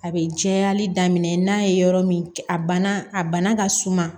A bɛ jɛyali daminɛ n'a ye yɔrɔ min a banna a bana ka suma